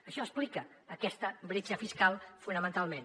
això explica aquesta bretxa fiscal fonamentalment